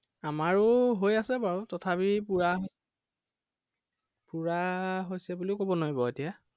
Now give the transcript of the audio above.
আমাৰো হৈ আছে বাৰু তথাপি পোৰা পোৰা হৈছে বুলিও কব নোৱাৰি বাৰু এতিয়া।